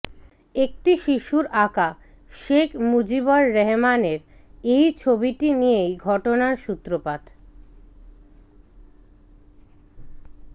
একটি শিশুর আঁকা শেখ মুজিবর রহমানের এই ছবিটি নিয়েই ঘটনার সূত্রপাত